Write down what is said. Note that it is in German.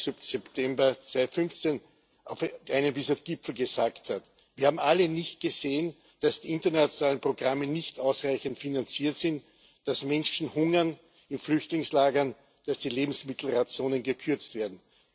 25. September 2015 auf einem dieser Gipfel gesagt hat Wir haben alle nicht gesehen, dass die internationalen Programme nicht ausreichend finanziert sind, dass Menschen in Flüchtlingslagern hungern, dass die Lebensmittelrationen gekürzt werden.